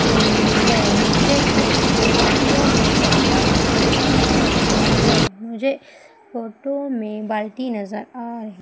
ही है मुझे इस फोटो में तसला नजर आ रहा है मुझे फोटो में बाल्टी नजर आ र--